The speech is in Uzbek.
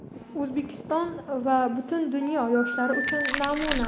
O‘zbekiston va butun dunyo yoshlari uchun namuna.